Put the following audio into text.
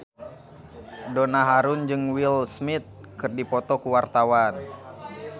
Donna Harun jeung Will Smith keur dipoto ku wartawan